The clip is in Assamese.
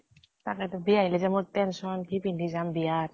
বিয়া আহিলে যে মোৰ tension কি পিন্ধি যাম, বিয়া ত